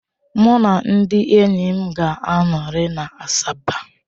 Mụ na ndị enyi m ga-anọrị na Asaba.